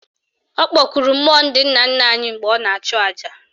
Ọ kpọkuru mmụọ ndị nna nna anyị mgbe ọ na-achụ aja